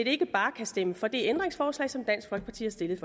ikke bare kan stemme for det ændringsforslag som dansk folkeparti har stillet